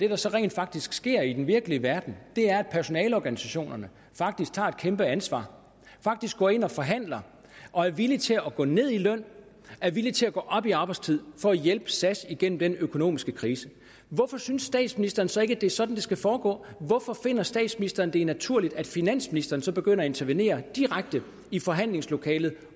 der så rent faktisk sker i den virkelige verden er at personaleorganisationerne faktisk tager et kæmpe ansvar faktisk går ind og forhandler og er villige til at gå ned i løn er villige til at gå op i arbejdstid for at hjælpe sas igennem den økonomiske krise hvorfor synes statsministeren så ikke at det er sådan det skal foregå hvorfor finder statsministeren det naturligt at finansministeren så begynder at intervenere direkte i forhandlingslokalet